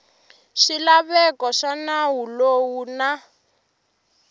swilaveko swa nawu lowu na